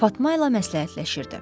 Fatma ilə məsləhətləşirdi.